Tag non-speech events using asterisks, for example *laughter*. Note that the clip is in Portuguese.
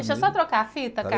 Deixa eu só trocar a fita *unintelligible*